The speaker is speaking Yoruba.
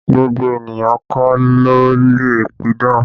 Gbogbo ènìyàn kọ́ ló lè pidán